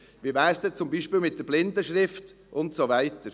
Wie wäre es denn zum Beispiel mit der Blindenschrift und so weiter?